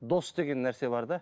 дос деген нәрсе бар да